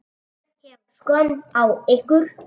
Ég hef skömm á ykkur.